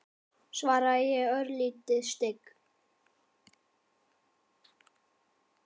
svaraði ég, örlítið stygg.